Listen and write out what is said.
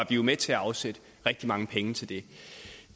vi jo med til at afsætte rigtig mange penge til det